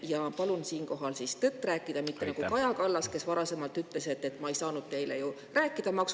Ja palun siinkohal tõtt rääkida, mitte nagu Kaja Kallas, kes ütles: "Ma ei saanud ju teile rääkida maksutõusudest …